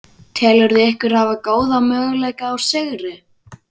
Telurðu ykkur hafa góða möguleika á sigri?